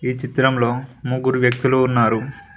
ఈ చిత్రంలో ముగ్గురు వ్యక్తులు ఉన్నారు.